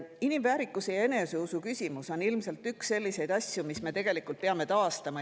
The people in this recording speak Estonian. Inimväärikuse ja eneseusu küsimus on ilmselt üks selliseid asju, mis me peame taastama.